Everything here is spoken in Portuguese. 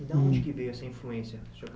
E da onde veio essa influência para o senhor